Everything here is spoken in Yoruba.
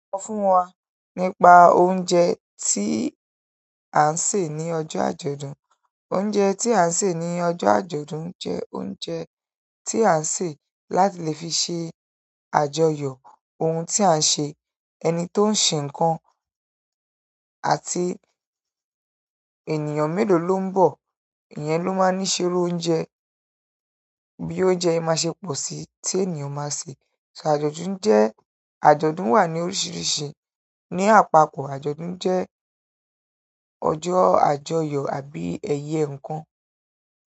Sọ fún wa nípa oúnjẹ tí à ń sè ní ọjọ́ àjọ̀dún. Oúnjẹ tí à ń sè ní ọjọ́ àjọ̀dún jẹ́ oúnjẹ tí à ń sè láti lè fi ṣe àjọyọ̀ oun tí à ń ṣe. Ẹni tó ń ṣe ǹkan àti ènìyàn mélòó ló ń bọ̀, ìyẹn ló máa ní ṣerú oúnjẹ. Bí oúnjẹ máa ṣe pọ̀ sí tí ènìyàn máa sè. Ṣo àjọ̀dún jẹ́, àjọ̀dún wà ní oríṣiríṣi ní àpapọ̀ àjọ̀dún jẹ́ ọjọ́ àjọyọ̀ àbí ẹyẹ ǹkan?